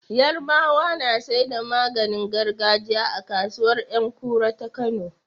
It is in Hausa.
Yarabawa na saida maganin gargajiya a kasuwar Yankura ta kano